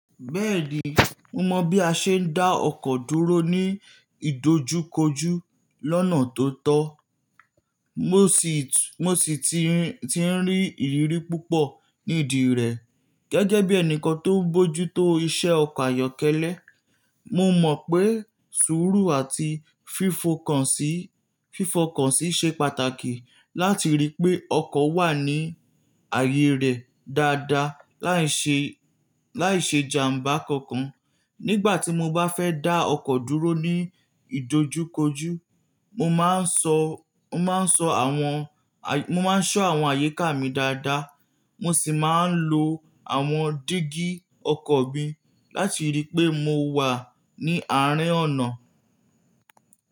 Bẹ́ẹ̀ni, mo mọ bí a ṣe ń dá ọkọ̀ dúró ní ìdojúkojú lọ́nà tó tọ́. Mo sì ti ń rí ìrírí púpọ̀ nídi rẹ̀ gẹ́gẹ́ bí ẹni tó ń bójú tó iṣẹ́ ọkọ̀ ayọ́kẹ́lẹ́. Mo mọ̀ pé sùúrù àti fífo kàn sí fifọ kàn si ṣe pàtàkì láti rí pé ọkọ̀ wà ní ààyè rẹ̀ dáadáa láì ṣe láì ṣe jàmbá kankan. Nígbà tí mo bá fẹ́ dá ọkọ̀ dúró ní ìdojúkojú, mo máa ń ṣọ́ àwọn àyíká mi dáadáa, mo sì máa ń lo àwọn dígí ọkọ̀ mi láti rí pé mo wà ní àárín ọ̀nà.